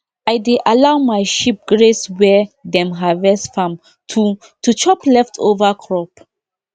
i dey allow my sheep graze where dem harvest farm to to chop leftover crop